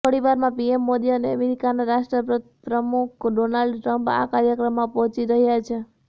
થોડીવારમાં પીએમ મોદી અને અમેરિકાના રાષ્ટ્રપ્રમુખ ડોનાલ્ડ ટ્રમ્પ આ કાર્યક્રમમાં પહોંચી રહ્યા છે